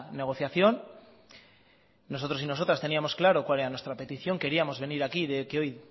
negociación nosotros y nosotras teníamos claro cuál era nuestra petición queríamos venir aquí que hoy